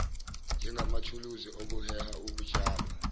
njengamathuluzi okuheha ukutshalwa